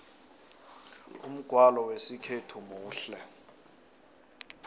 umgwalo wesikhethu muhle